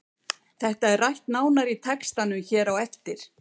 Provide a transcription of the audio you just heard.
Þetta er rætt nánar í textanum hér á eftir.